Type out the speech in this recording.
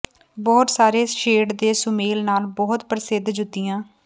ਬਹੁਤ ਸਾਰੇ ਸ਼ੇਡ ਦੇ ਸੁਮੇਲ ਨਾਲ ਬਹੁਤ ਪ੍ਰਸਿੱਧ ਜੁੱਤੀਆਂ